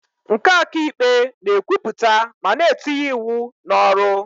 Nke ọka ikpe na-ekwupụta ma na-etinye ịwụ n'ọrụ